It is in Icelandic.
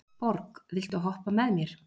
Borg, viltu hoppa með mér?